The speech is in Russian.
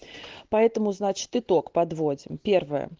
поэтому значит итог подводим первое